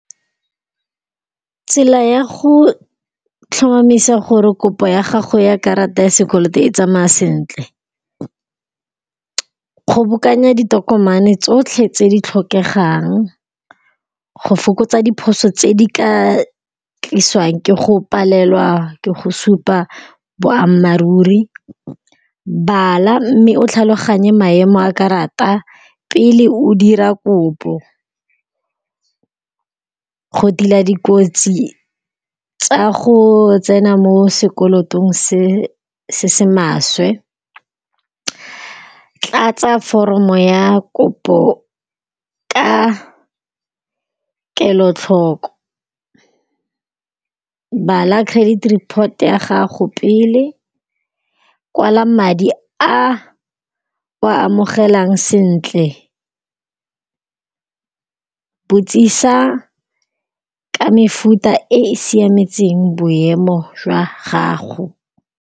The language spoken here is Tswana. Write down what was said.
Tsela ya go tlhomamisa gore kopo ya gago ya karata ya sekoloto e tsamaya sentle, kgobokanya ditokomane tsotlhe tse di tlhokegang go fokotsa diphoso tse di ka tlisiwang ke go palelwa ke go supa boammaaruri. Bala mme o tlhaloganye maemo a karata pele o dira kopo. Go tila dikotsi tsa go tsena mo sekolotong se se maswe, tlatse foromo ya kopo ka kelotlhoko. Bala credit report ya gago pele, kwala madi a o a amogelang sentle, botsisa ka mefuta e e siametseng boemo jwa gago.